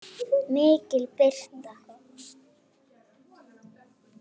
MIKIL BIRTA